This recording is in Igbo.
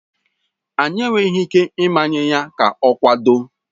Anyị enweghị ike ịmanye ya ka ọ kwado.